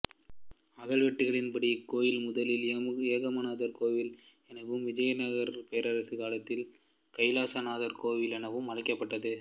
அக்கல்வெட்டுகளின் படி இக்கோயில் முதலில் ஏகாம்பரநாதர் கோயில் எனவும் விஜயநகரப் பேரரசு காலத்தில் கைலாசநாதர் கோயில் எனவும் அழைக்கபட்டது